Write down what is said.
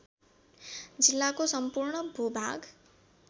जिल्लाको सम्पूर्ण भूभाग